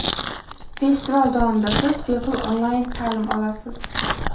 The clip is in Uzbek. Festival davomida siz bepul onlayn ta’lim olasiz.